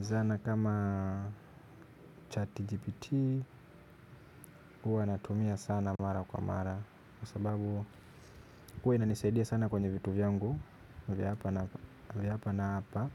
Zana kama chat GPT huwa natumia sana mara kwa mara. Kwa sababu huwa inanisaidia sana kwenye vitu vyangu vya hapa na hapa.